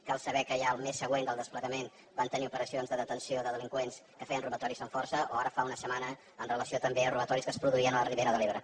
cal saber que ja el mes següent del desplegament van tenir operacions de detenció de delinqüents que feien robatoris amb força o ara fa una setmana amb relació també a robatoris que es produïen a la ribera de l’ebre